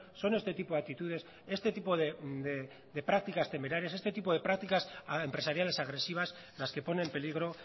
son este tipo de actitudes este tipo de prácticas temerarias este tipo de prácticas empresariales agresivas las que pone en peligro